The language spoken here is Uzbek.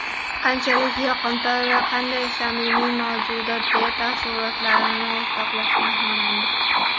Qanchalik yoqimtoy, qanday samimiy mavjudot”, deya taassurotlarini o‘rtoqlashgan xonanda.